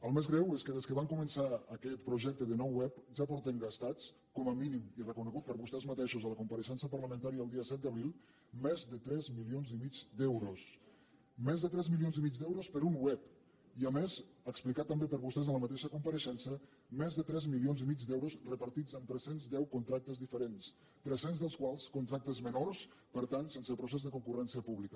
el més greu és que des que van començar aquest projecte de nova web ja porten gastats com a mínim i reconegut per vostès mateixos en la compareixença parlamentària del dia set d’abril més de tres milions i mig d’euros més de tres milions i mig d’euros per un web i a més explicat també per vostès en la mateixa compareixença més de tres milions i mig d’euros repartits en tres cents i deu contractes diferents tres cents dels quals contractes menors per tant sense procés de concurrència pública